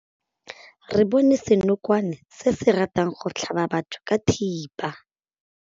Re bone senokwane se se ratang go tlhaba batho ka thipa.